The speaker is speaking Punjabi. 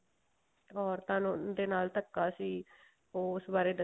ਔਰਤਾਂ ਦੇ ਨਾਲ ਧੱਕਾ ਸੀ ਉਸ ਬਾਰੇ